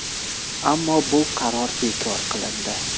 Ammo bu qaror bekor qilindi.